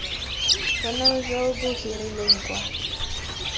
bonno jo bo hirilweng kwa